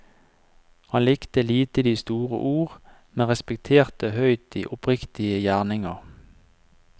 Han likte lite de store ord, men respekterte høyt de oppriktige gjerninger.